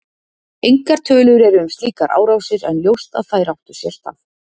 Engar tölur eru um slíkar árásir en ljóst að þær áttu sér stað.